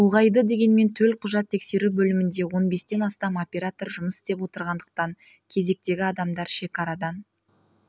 ұлғайды дегенмен төлқұжат тексеру бөлімінде он бестен астам оператор жұмыс істеп отырғандықтан кезектегі адамдар шекарадан